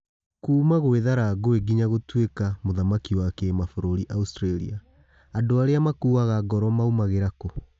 Kuma gwĩ thara ngũĩ nginya gũtwĩ ka muthaki wa kĩ mabũrũri Australia. Andũ arĩ a makuaga ngoro maũmagĩ rĩ ra kû?